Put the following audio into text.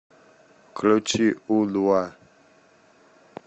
включи у два